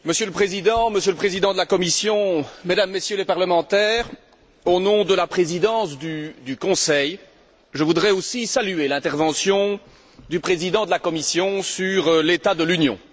Monsieur le Président, Monsieur le Président de la Commission, Mesdames et Messieurs les parlementaires, au nom de la Présidence du Conseil, je voudrais aussi saluer l'intervention du président de la Commission sur l'état de l'Union.